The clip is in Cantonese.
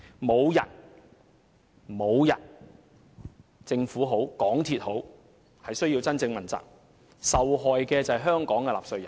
無論是政府或港鐵公司，無人需要問責，而受害的是香港的納稅人。